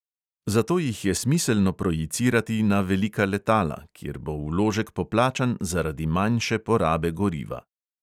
Zato jih je smiselno projicirati na velika letala, kjer bo vložek poplačan zaradi manjše porabe goriva.